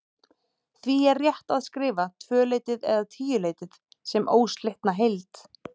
Því er rétt að skrifa tvöleytið eða tíuleytið sem óslitna heild.